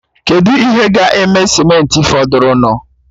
Kedu ihe ga-eme simenti fọdụrụnụ?